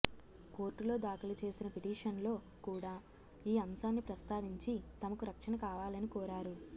కోర్టులో దాఖలు చేసిన పిటిషన్లో కూడా ఈ అంశాన్ని ప్రస్తావించి తమకు రక్షణ కావాలని కోరారు